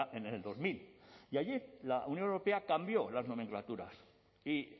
en el dos mil y allí la unión europea cambió las nomenclaturas y